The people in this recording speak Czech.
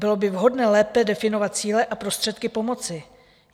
Bylo by vhodné lépe definovat cíle a prostředky pomoci.